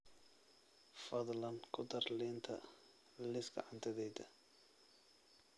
fadlan ku dar liinta liiska cuntadayda